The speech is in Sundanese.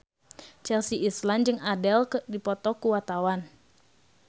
Chelsea Islan jeung Adele keur dipoto ku wartawan